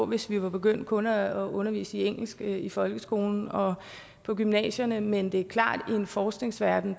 hvis vi var begyndt kun at undervise i engelsk i folkeskolen og på gymnasierne men det er klart at i en forskningsverden